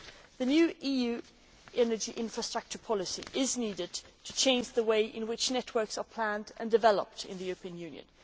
The new EU energy infrastructure policy is needed to change the way in which networks are planned and developed in the European Union.